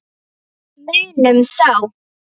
Munum þá.